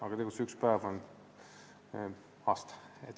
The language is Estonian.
Aga tegelikult tähendab see üks päev aastat.